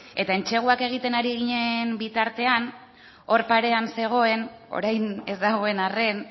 eta entseguak egiten ari ginen bitartean hor parean zegoen orain ez dagoen arren